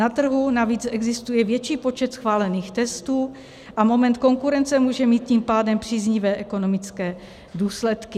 Na trhu navíc existuje větší počet schválených testů a moment konkurence může mít tím pádem příznivé ekonomické důsledky.